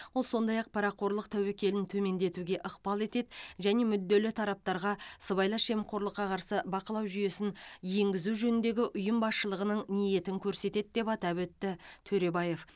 ол сондай ақ парақорлық тәуекелін төмендетуге ықпал етеді және мүдделі тараптарға сыбайлас жемқорлыққа қарсы бақылау жүйесін енгізу жөніндегі ұйым басшылығының ниетін көрсетеді деп атап өтті төребаев